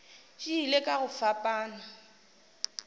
di ile ka go fapana